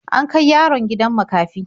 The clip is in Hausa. An kai yaron gidan makafi.